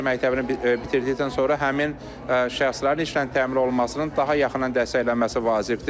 Peşə məktəbini bitirdikdən sonra həmin şəxslərin işlə təmin olunmasının daha yaxından dəstəklənməsi vacibdir.